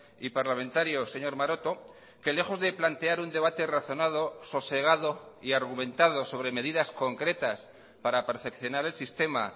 y parlamentario señor maroto que lejos de plantear un debate razonado sosegado y argumentado sobre medidas concretas para perfeccionar el sistema